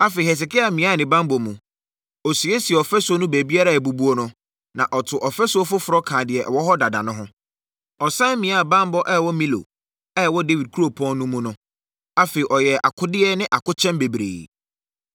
Afei, Hesekia miaa ne banbɔ mu, ɔsiesiee ɔfasuo no baabiara a abubuo no, na ɔtoo ɔfasuo foforɔ kaa deɛ ɛwɔ hɔ dada no ho. Ɔsane miaa banbɔ a ɛwɔ Milo a ɛwɔ Dawid kuropɔn no mu no. Afei ɔyɛɛ akodeɛ ne akokyɛm bebree.